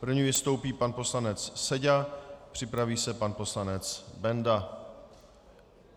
První vystoupí pan poslanec Seďa, připraví se pan poslanec Benda.